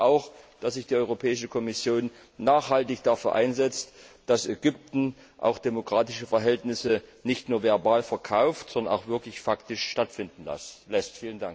Ich bitte auch, dass sich die Europäische Kommission nachhaltig dafür einsetzt, dass Ägypten demokratische Verhältnisse nicht nur verbal verkauft, sondern auch wirklich faktisch stattfinden lässt.